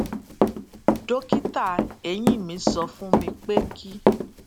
dókítà eyín mi sọ fún mi pé kí